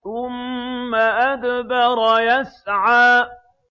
ثُمَّ أَدْبَرَ يَسْعَىٰ